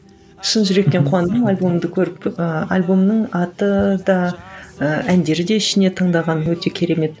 шын жүректен қуандым альбомыңды көріп ыыы альбомның аты да ы әндері де ішінде тыңдаған өте керемет